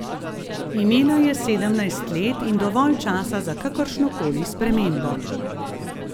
Imela je sedemnajst let in dovolj časa za kakršno koli spremembo.